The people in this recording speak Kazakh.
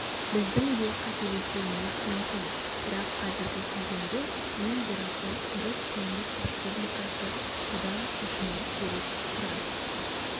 біздің де қателесуіміз мүмкін бірақ қазіргі кезеңде ең дұрысы түрік кеңес республикасы бұдан шошымау керек тұрар